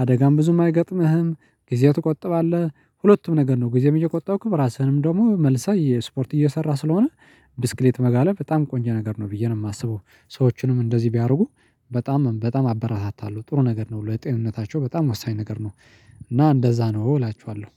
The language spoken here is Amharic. አደጋም ብዙም አይገጥምህም ጊዜ ትቆጥባለህ ሁለቱም ነገር ነው ጊዜም እየቆጠብክም ራስህንም ደግሞ መልሰህ የስፖርት እየሰራ ስለሆነ። ብስክሌት መጋለብ በጣም ቆንጆ ነገር ነው ብዬ ነው የማስበው። ሰዎችንም እንደዚህ ቢያደርጉ በጣም በጣም አበረታታለሁ ጥሩ ነገር ነው ለጤንነታቸው በጣም ወሳኝ ነገር ነው። እና እንደዛ ነው እላችኋለሁ።